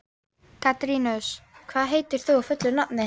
Katarínus, hvað heitir þú fullu nafni?